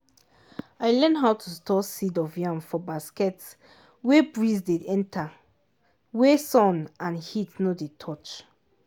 i learn how to store seed of yam for basket wey breeze dey enter wey sun and heat nor dey touch.